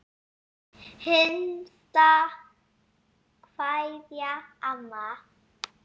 HINSTA KVEÐJA Amma.